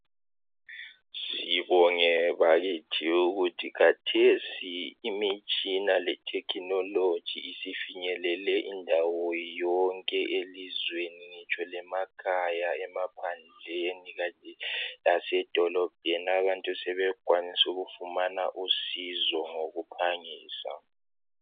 sibonge bakithi ukuthi khathesi imitshina le technilogy isifinyelele indawo yonke elizweni kanye lemakhaya emaphandleni lasedolobheni abantu sebekwanisa ukufumana usizo ngokuphangisa